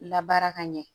Labaara ka ɲɛ